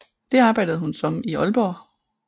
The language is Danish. Det arbejdede hun som i Aalborg